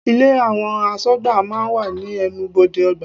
Ilé àwọn aṣọgbà máa ń wà ní ẹnubodè ọgbà.